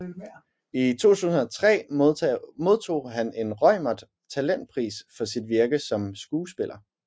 I 2003 modtog han en Reumert talentpris for sit virke som skuespiller